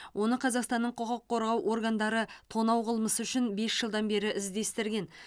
оны қазақстанның құқық қорғау органдары тонау қылмысы үшін бес жылдан бері іздестірген